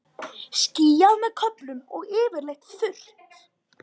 Skýjað með köflum og yfirleitt þurrt